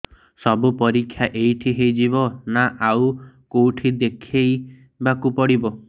ସବୁ ପରୀକ୍ଷା ଏଇଠି ହେଇଯିବ ନା ଆଉ କଉଠି ଦେଖେଇ ବାକୁ ପଡ଼ିବ